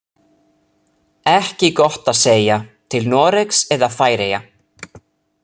Ekki gott að segja, til Noregs eða Færeyja.